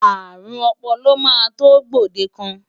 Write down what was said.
Àrùn ọpọlọ máa tó gbòdekàn.